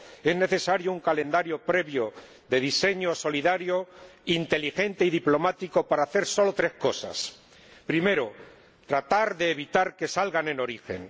Es necesario un calendario previo de diseño solidario, inteligente y diplomático para hacer solo tres cosas primero, tratar de evitar que salgan en origen